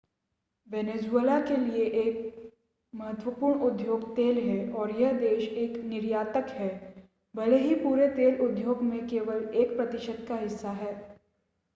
Venezuela के लिए एक महत्वपूर्ण उद्योग तेल है और यह देश एक निर्यातक है भले ही पूरे तेल उद्योग में केवल एक प्रतिशत का हिस्सा है